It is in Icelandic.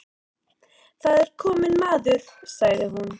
Það er kominn maður, sagði hún.